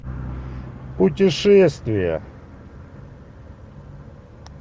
путешествия